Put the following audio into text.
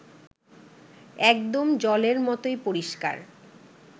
একদম জলের মতোই পরিষ্কার